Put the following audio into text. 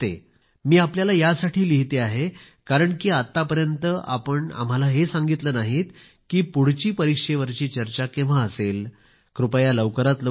मी आपल्याला यासाठी लिहिते आहे कारण की आत्तापर्यंत आपण आम्हाला हे सांगितले नाहीत की पुढची परीक्षेवरील चर्चा केव्हा असेल कृपया लवकरात लवकर करा